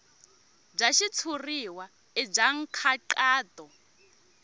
bya xitshuriwa i bya nkhaqato